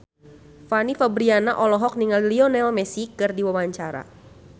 Fanny Fabriana olohok ningali Lionel Messi keur diwawancara